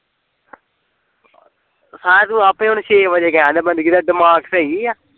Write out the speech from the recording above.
ਸਾਲਿਆਂ ਤੂੰ ਆਪੇ ਹੁਣ ਛੇ ਵਜੇ ਕਹਿਣ ਡਿਆ ਪਤਾ ਨੀ ਕੀ ਤੇਰਾ ਦਿਮਾਗ ਸਹੀ ਆ